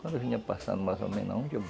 Quando eu vinha passando mais ou menos aonde?